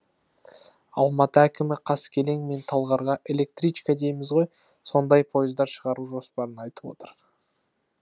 алматы әкімі қаскелең мен талғарға электричка дейміз ғой сондай пойыздар шығару жоспарын айтып отыр